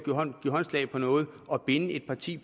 give håndslag på noget og binde et parti